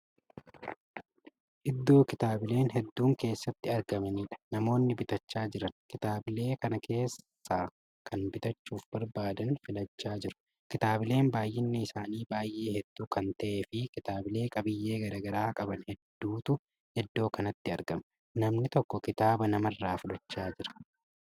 Iddoo kitaabileen hedduun keessatti gurguramaniidha. namoonni bitachaa Jiran kitaabbileen kana keessa Kan bitachuuf barbaadan filachaa jiru. kitaabbileen baay'inni isaanii baay'ee hedduu Kan ta'eefi kitaablee qabiyyee garagaraa qaban hedduutu iddoo kanatti argama. namni tokko kitaaba namarraa fudhachaa Jira.